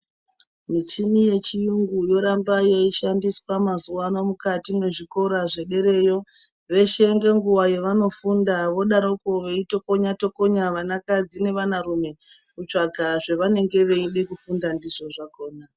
Michini yechiyungu yoramba yeishandiswa mazuwano mukati mwezvikora zvederayo zveshe ngenguva yavanofunda vodaroko veitokonya tokonya vana kadzi nevana rume kutsvaga zvavanenge veide kufunda ndizvo zvakona.